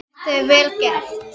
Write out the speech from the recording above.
Þetta er vel gert.